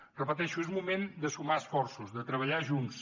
ho repeteixo és moment de sumar esforços de treballar junts